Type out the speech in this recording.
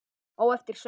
Á eftir söng Hermann